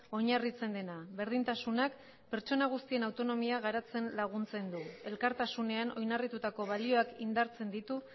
oinarritzen dena berdintasunak pertsona guztien autonomia garatzen laguntzen du elkartasunean oinarritutako balioak indartzen ditu